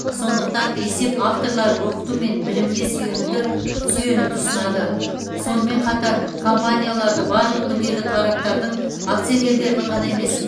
сондықтан есеп авторлары оқыту мен білімге сүйенуді сүйенуді ұсынады сонымен қатар компанияларды барлық мүдделі тараптардың акционерлердің ғана емес